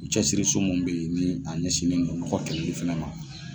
U cɛsiriso mun be yen ni ɲɛsin don mɔgɔ kɛli fɛnɛ ma